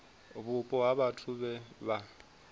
vhupo ha vhathu vhe vha